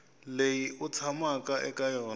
leyi u tshamaka eka yona